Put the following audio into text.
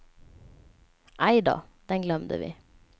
Aj då, den glömde vi.